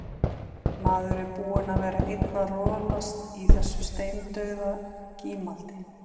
Maður er búinn að vera einn að rolast í þessu steindauða gímaldi.